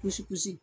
Kulusi kusi